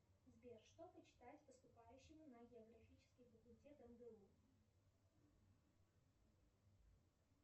сбер что почитать поступающему на географический факультет мгу